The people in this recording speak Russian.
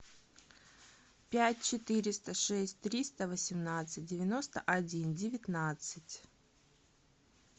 пять четыреста шесть триста восемнадцать девяносто один девятнадцать